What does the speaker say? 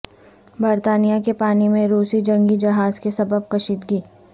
برطانیہ کے پانی میں روسی جنگی جہاز کے سبب کشیدگی